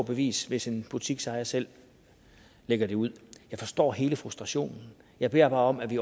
bevis hvis en butiksejer selv lægger det ud jeg forstår hele frustrationen jeg beder bare om at vi